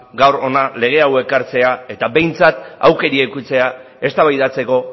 gaur hona lege hau ekartzea eta behintzat aukera edukitzea eztabaidatzeko